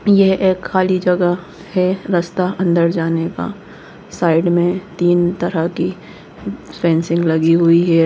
यह एक खाली जगह है रास्ता अंदर जाने का साइड में तीन तरह की फेंसिंग लगी हुई है।